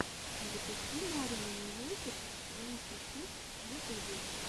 запусти маринумьюзиктвэнтисикс в ютубе